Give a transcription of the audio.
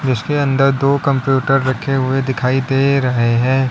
उसके अंदर दो कंप्यूटर रखे हुए दिखाई दे रहे हैं।